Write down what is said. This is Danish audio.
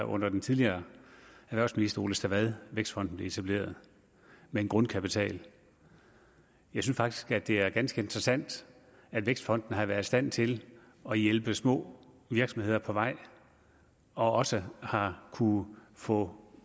under den tidligere erhvervsminister ole stavad at vækstfonden blev etableret med en grundkapital jeg synes faktisk det er ganske interessant at vækstfonden har været i stand til at hjælpe små virksomheder på vej og også har kunnet få